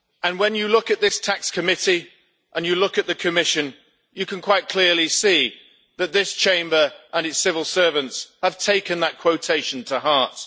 When you look at this Special Committee on Tax Rulings and you look at the Commission, you can quite clearly see that this Chamber and its civil servants have taken that quotation to heart.